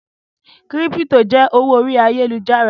crypto jẹ owó orí Ayélujára.